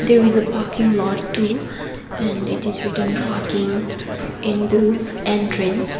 there is a parking lot too and it is written parking in the entrance.